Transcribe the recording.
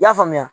I y'a faamuya